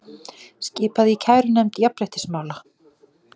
Skipað í kærunefnd jafnréttismála